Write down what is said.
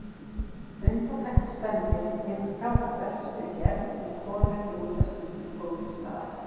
Undarlegt spendýr með heimþrá af verstu gerð sem konur njóta stundum góðs af.